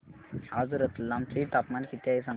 आज रतलाम चे तापमान किती आहे सांगा